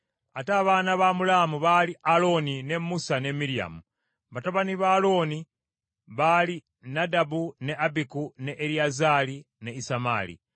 Ate abaana ba Amulaamu baali Alooni, ne Musa ne Miryamu. Batabani ba Alooni baali Nadabu, ne Abiku, ne Eriyazaali ne Isamaali.